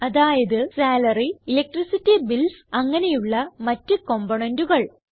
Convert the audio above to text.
അതായത് salary electricity bills അങ്ങനെയുള്ള മറ്റ് componentകൾ